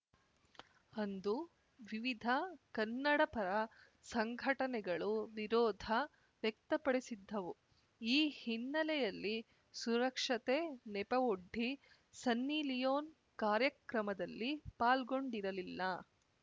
ಅಂದು ವಿವಿಧ ಕನ್ನಡಪರ ಸಂಘಟನೆಗಳು ವಿರೋಧ ವ್ಯಕ್ತಪಡಿಸಿದ್ದವು ಈ ಹಿನ್ನೆಲೆಯಲ್ಲಿ ಸುರಕ್ಷತೆ ನೆಪವೊಡ್ಡಿ ಸನ್ನಿಲಿಯೊನ್‌ ಕಾರ್ಯಕ್ರಮದಲ್ಲಿ ಪಾಲ್ಗೊಂಡಿರಲಿಲ್ಲ